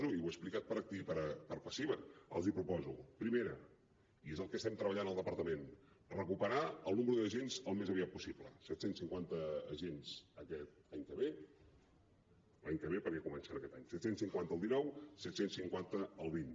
i ho he explicat per activa i per passiva els proposo primera i és el que estem treballant al departament recuperar el nombre d’agents al més aviat possible set cents i cinquanta agents aquest any que ve l’any que ve perquè comencen aquest any set cents i cinquanta el dinou set cents i cinquanta el vint